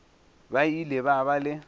ba ile ba ba le